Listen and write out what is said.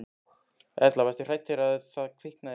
Erla: Varstu hrædd þegar það kviknaði á, á bjöllunni?